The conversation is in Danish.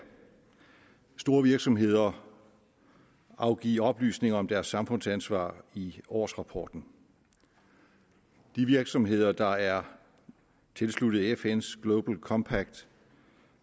store virksomheder afgive oplysninger om deres samfundsansvar i årsrapporten de virksomheder der er tilsluttet fns global compact